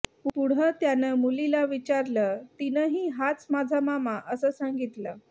पुढं त्यानं मुलीला विचारलं तिनंही हाच माझा मामा असं सांगितलं